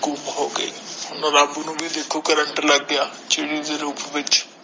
ਘੁੰਮ ਹੋਗਈ ਰੱਬ ਨੂੰ ਭੀ ਦੇਖੋ ਕਰੰਟ ਲੱਗਯਾ